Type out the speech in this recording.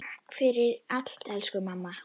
Takk fyrir allt elsku mamma.